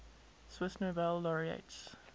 swiss nobel laureates